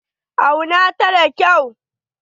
Auna ta da kyau.